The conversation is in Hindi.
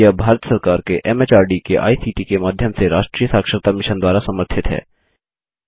यह भारत सरकार के एमएचआरडी के आईसीटी के माध्यम से राष्ट्रीय साक्षरता मिशन द्वारा समर्थित है